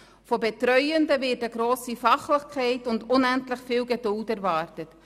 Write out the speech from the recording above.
Von Betreuenden wird eine grosse Fachlichkeit und unendlich viel Geduld erwartet.